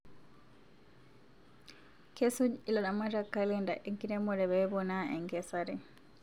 Kesuj ilaramatak kalenda enkiremore peponaa enkesare